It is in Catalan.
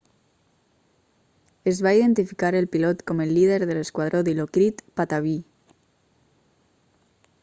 es va identificar el pilot com el líder de l'esquadró dilokrit pattavee